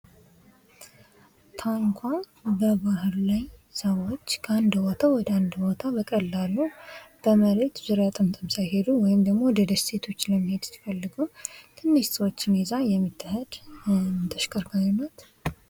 ታንኳ በባህር ላይ ሰዎች ከአንድ ቦታ ወደ አንድ ቦታ በቀላሉ በመሬት ዙሪያ ጥምጥም ሳይሄዱ ወይም ደሞ ወደ ደሴቶች ለመሄድ ሲፈልጉ ትንሽ ሰዎችን ይዛ የምትሄድ ተሽከርካሪ ናት።